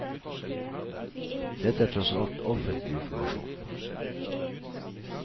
Dette er tross alt offentlig informasjon.